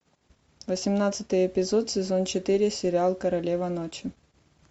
восемнадцатый эпизод сезон четыре сериал королева ночи